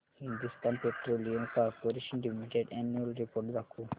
Hindustan petroleum corporation limited annual report दाखव